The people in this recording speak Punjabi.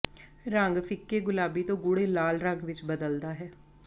ਰੰਗ ਫ਼ਿੱਕੇ ਗੁਲਾਬੀ ਤੋਂ ਗੂੜ੍ਹੇ ਲਾਲ ਰੰਗ ਵਿੱਚ ਬਦਲਦਾ ਹੈ